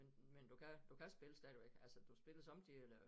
Men men du kan du kan spille stadigvæk altså du spiller somme tider eller